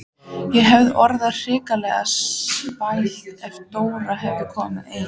Ég hefði orðið hrikalega spældur ef Dóra hefði komið ein!